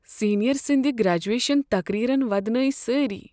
Senior سندِ graduation تقریرن ودنٲوِ سٲری۔